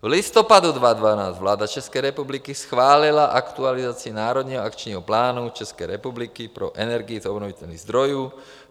V listopadu 2012 vláda České republiky schválila aktualizaci Národního akčního plánu České republiky pro energii z obnovitelných zdrojů.